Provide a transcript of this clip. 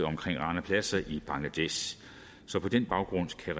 rana plaza i bangladesh så på den baggrund kan